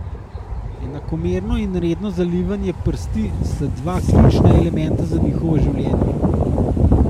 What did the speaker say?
Enakomerno in redno zalivanje prsti sta dva ključna elementa za njihovo življenje.